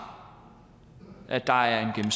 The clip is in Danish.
at der er en